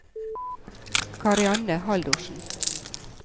Karianne Haldorsen